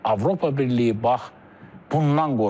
Avropa Birliyi bax bundan qorxur.